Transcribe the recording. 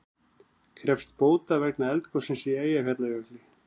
Krefjast bóta vegna eldgossins í Eyjafjallajökli